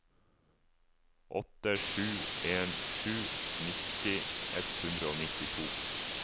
åtte sju en sju nitti ett hundre og nittito